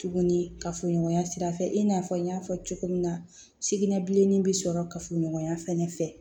Tuguni kafoɲɔgɔnya sira fɛ i n'a fɔ n y'a fɔ cogo min na sugunɛ bilenni bi sɔrɔ kafoɲɔgɔnya fɛnɛ fɛ